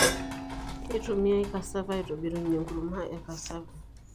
Keitumiae Cassava aitobirunyie enkurma e Cassava.